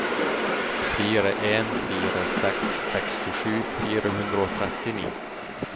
fire en fire seks sekstisju fire hundre og trettini